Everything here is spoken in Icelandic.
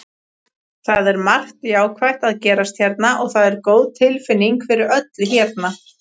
Það er margt jákvætt að gerast hérna og það er góð tilfinning fyrir öllu hérna.